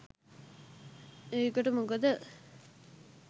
ඒකට මොකද